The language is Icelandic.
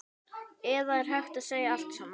Eða er hætt við allt saman?